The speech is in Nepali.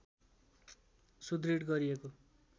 सुदृढ गरिएको